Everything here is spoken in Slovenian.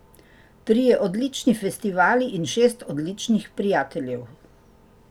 Trije odlični festivali in šest odličnih prijateljev.